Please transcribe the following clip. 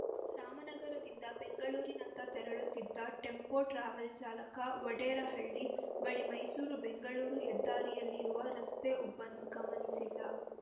ರಾಮನಗರದಿಂದ ಬೆಂಗಳೂರಿನತ್ತ ತೆರಳುತ್ತಿದ್ದ tempo travel ಚಾಲಕ ವಡೇರಹಳ್ಳಿ ಬಳಿ ಮೈಸೂರು ಬೆಂಗಳೂರು ಹೆದ್ದಾರಿಯಲ್ಲಿರುವ ರಸ್ತೆ ಉಬ್ಬನ್ನು ಗಮನಿಸಿಲ್ಲ